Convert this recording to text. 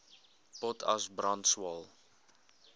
potas brand swael